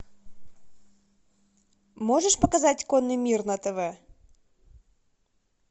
можешь показать конный мир на тв